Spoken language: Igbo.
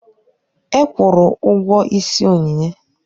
Ekwuuru ụgwọ ịsị Onyinye.